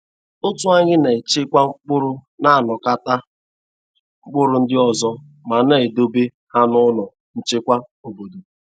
Otu anyị na-echekwa mkpụrụ na-anakọta mkpụrụ ndị ọzọ ma na-edobe ha n’ụlọ nchekwa obodo.